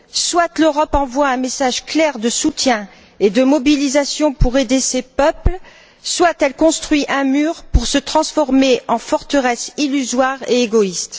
Soit l'Europe envoie un message clair de soutien et de mobilisation pour aider ces peuples, soit elle construit un mur pour se transformer en forteresse illusoire et égoïste.